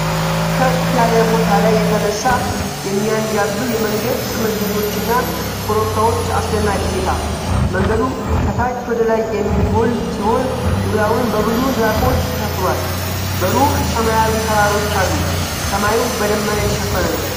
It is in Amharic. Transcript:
ከፍ ያለ ቦታ ላይ የተነሳ የሚያንዣብብ የመንገድ ጥምዝምዞች እና ኮረብታዎች አስደናቂ እይታ። መንገዱ ከታች ወደ ላይ የሚጎል ሲሆን ዙሪያውን በብዙ ዛፎች ተሸፍኗል። በሩቅ ሰማያዊ ተራሮች አሉ። ሰማዩ በደመና የተሸፈነ ነው።